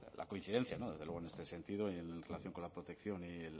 la coincidencia desde luego en este sentido y en relación con la protección y